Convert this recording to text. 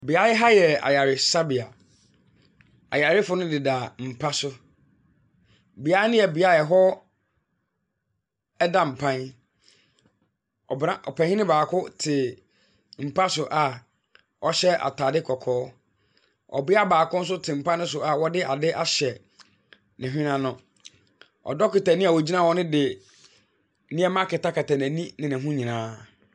Beaɛe ha yɛ ayaresabea. Ayarefo no deda mpa so. Beae no yɛ beae a ɛhɔ da mpan. Ɔbra ɔpanyini baako te mpa so a ɔhyɛ ataade kɔkɔɔ. Ɔbea baako nso te mpa no so a wɔde ade ahyɛ ne hwene ano. Ɔdɔketani a ogyina hɔ no de nneɛma akatakata n'ani ne ho nyinaa.